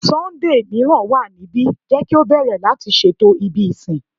Sunday miiran wa nibi, jẹ ki o bẹrẹ lati ṣeto ibi isin